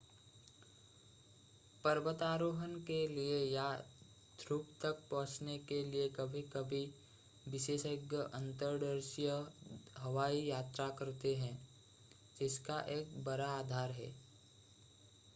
पर्वतारोहण के लिए या ध्रुव तक पहुंचने के लिए कभी-कभी विशेषज्ञ अंतर्देशीय हवाई यात्रा करते हैं जिसका एक बड़ा आधार है